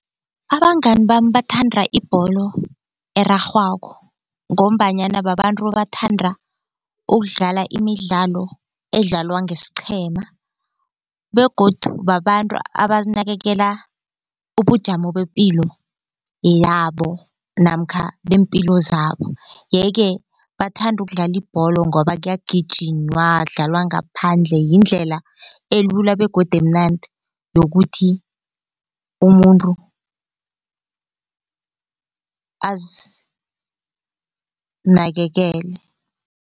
Abangani bami bathanda ibholo erarhwako ngombanyana babantu abathanda ukudlala imidlalo edlalwa ngesiqhema begodu babantu abanakekela ubujamo bepilo yabo namkha beempilo zabo yeke bathanda ukudlala ibholo ngoba kuyagijinywa kudlalwa ngaphandle yindlela elula begodu emnandi yokuthi umuntu azinakekele.